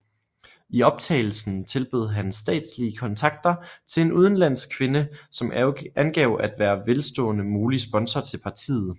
I optagelsen tilbød han statslige kontakter til en udenlandsk kvinde som angav at være en velstående mulig sponsor til partiet